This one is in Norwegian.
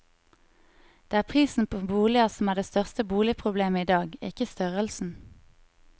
Det er prisen på boliger som er det største boligproblemet i dag, ikke størrelsen.